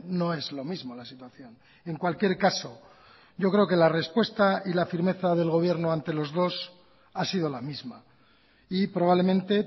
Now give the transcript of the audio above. no es lo mismo la situación en cualquier caso yo creo que la respuesta y la firmeza del gobierno ante los dos ha sido la misma y probablemente